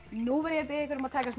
nú verð ég að biðja ykkur um að taka smá